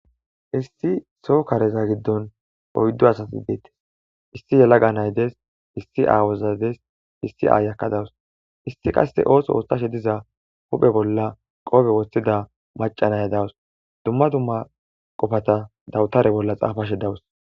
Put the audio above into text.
issi soo kareza giddon oyddo asati deettes issi yalaga naydes issi aawozades issi aa yakkadawus issi qasse ooso oottashe diza huphe bolla qoobe wossida macanay dawus dumma dumma qofata dawutare bolla xaafashe dawus